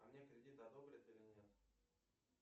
а мне кредит одобрят или нет